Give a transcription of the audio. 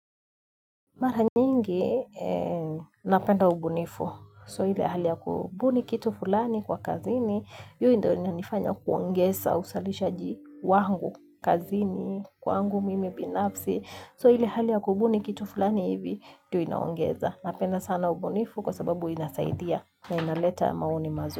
Mara nyingi, napenda ubunifu. So ile hali ya kubuni kitu fulani kwa kazini. Hiyo ndio inanifanya kuongeza, uzalishaji wangu kazini, wangu mimi binafsi. So ile hali ya kubuni kitu fulani hivi, ndio inaongeza. Napenda sana ubunifu kwa sababu inasaidia na inaleta maoni mazuri.